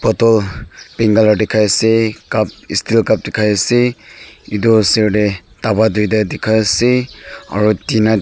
bottle pink colour dikhai asey cup isteel cup dikhai asey etu osor deh daba duita dikah asey aro tina--